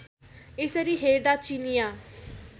यसरी हेर्दा चिनियाँ